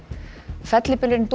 fellibylurinn